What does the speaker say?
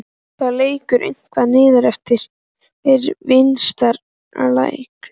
Það lekur eitthvað niður eftir vinstra lærinu.